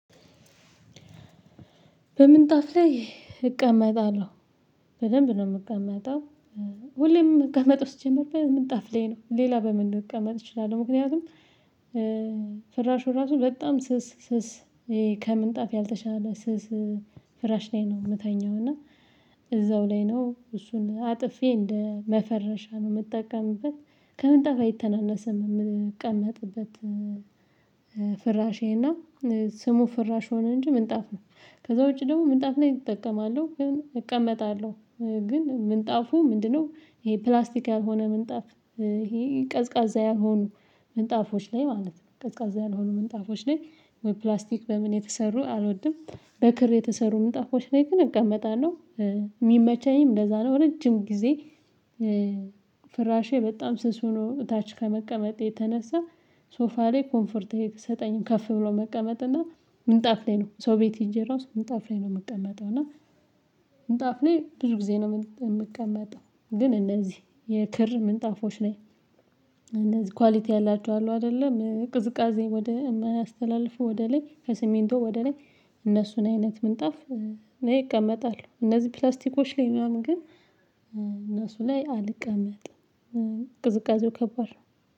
በምን ጣፍ ላይ እቀመጣለሁ። በደንብ ነው የምቀመጠው። ሁሌም ምቀመጠው ሲጀመር በምንጣፍ ላይ ነው ሌላ በምን መቀመጥ እችላለሁ ምክንያቱም። ፍራሹ ራሱ በጣም ስስ ስስ ይሄ ከምንጣፍ ያልተሻለ ስስ ፍራሽ ላይ ነው የምተኛው። እና እዛው ላይ ነው እሱን አጥፌ እንደ መፈረሻ ነው የምጠቀምበት። ከምንጣፍ አይተናነስም የምቀመጥበት። ፍራሽ ይሄና ስሙ ፍራሽ ሆነ እንጂ ምንጣፍ ነው። ከዛ ውጪ ደግሞ ምንጣፍ ላይ እጠቀማለሁ ግን እቀመጣለሁ ግን ምንጣፉ ምንድነው? ይሄ ፕላስቲካ ያልሆነ ምንጣፍ ይሄ ቀዝቃዛ ያልሆኑ ምንጣፎች ላይ ማለት ነው ቀዝቃዛ ያልሆኑ ምንጣፎች ላይ ፕላስቲክ በምን የተሰሩ አልወድም። በክር የተሰሩ ምንጣፎች ላይ ግን እቀመጣለሁ። የሚመቸኝም ለዛ ነው። ረጅም ጊዜ ፍራሼ በጣም ስስ ሆኖ ታች ከመቀመጥ የተነሳ። ሶፋ ላይ ኮምፈርት እየተሰጠኝም ከፍ ብሎ መቀመጥ እና ምንጣፍ ላይ ነው ሰው ቤት ሄጀራው ምጣፍ ላይ ነው የምቀመጠው። እና ምንጣፍ ላይ ብዙ ጊዜ ነው የምቀመጠው። ግን እነዚህ የክር ምንጣፎች ላይ እነዚህ ኳሊቲ ያላቸው አሉ አይደለም ቅዝቃዜ ወደ እማያስተላልፎ ወደ ላይ ከስሜንቶ ወደ ላይ እነሱን አይነት ምንጣፍ እቀመጣለሁ። እነዚህ ፕላስቲኮች ላይ ምናምን ግን እነሱ ላይ አልቀመጥም። ቅዝቃዜው ከባድ ነው።